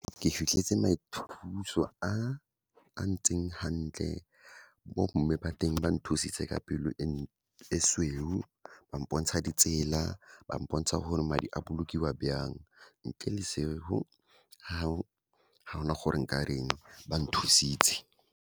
Ke fitlheletse maithuso a a ntseng hantle, bomme ba teng ba nthusitse ka pelo e sweu, ba mpontsha ditsela, ba mpontsha gore madi a bolokiwa byang. Ntle le seo, ga gona gore nka reng, ba nthusitse.